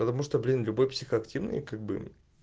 потому что блин любой психоактивный как бы